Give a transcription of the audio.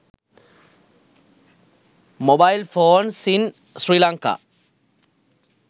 mobile phones in sri lanka